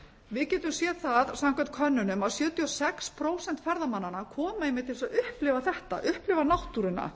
við getum séð það samkvæmt könnunum að sjötíu og sex prósent ferðamannanna komu einmitt til að upplifa þetta upplifa náttúruna